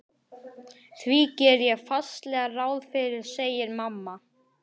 Því geri ég fastlega ráð fyrir, segir mamma.